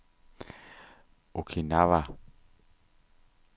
Okinawa